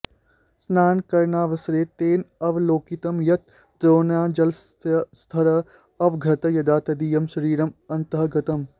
स्नानकरणावसरे तेन अवलोकितं यत् द्रोण्यां जलस्य स्तरः अवर्धत यदा तदीयं शरीरम् अन्तः गतम्